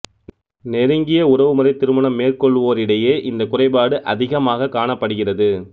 நெருங்கிய உறவு முறை திருமணம் மேற்கொள்வோரிடையே இந்த குறைபாடு அதிகமாகக் காணப்படுகிறது